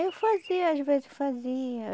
Eu fazia, às vezes fazia.